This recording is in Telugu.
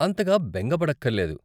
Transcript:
అంతగా బెంగ పడక్కర్లేదు!